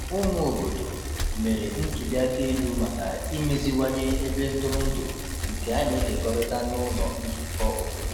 Ụmụ obodo mere ntuli aka elu maka imeziwanye ebe ntụrụndụ nke a na-ekekọrịta n’ụlọ nzukọ obodo.